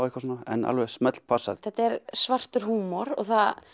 en alveg smellpassa þetta er svartur húmor og